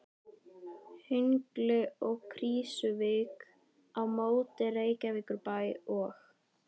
Hengli og Krýsuvík á móti Reykjavíkurbæ og